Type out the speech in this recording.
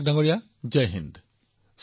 পাটনায়ক জী জয় হিন্দ